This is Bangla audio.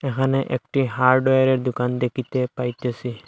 এখানে একটি হার্ডওয়ারের দোকান দেখিতে পাইতেসি।